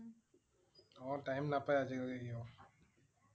অ' time নাপাই আজি কালি সিও